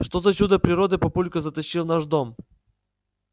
что за чудо природы папулька затащил в наш дом